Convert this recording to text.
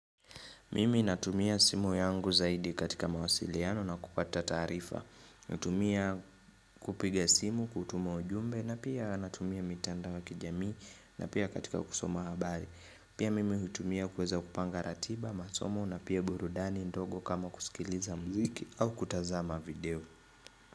Mimi natumia simu yangu zaidi katika mawasiliano na kupata taarifa. Natumia kupiga simu, kutuma ujumbe na pia natumia mitandao ya kijamii na pia katika kusoma habari. Pia mimi hutumia kuweza kupanga ratiba, masomo na pia burudani ndogo kama kusikiliza mziki au kutazama video.